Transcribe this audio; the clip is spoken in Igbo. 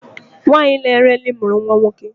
Nwanyị na-ere nri mụrụ nwa nwoke